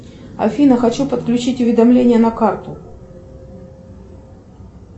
афина хочу подключить уведомление на карту